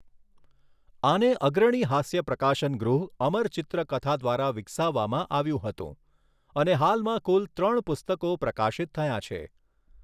આને અગ્રણી હાસ્ય પ્રકાશન ગૃહ અમર ચિત્ર કથા દ્વારા વિકસાવવામાં આવ્યું હતું અને હાલમાં કુલ ત્રણ પુસ્તકો પ્રકાશિત થયા છે.